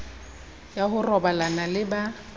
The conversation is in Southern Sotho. ya ho robalana le ba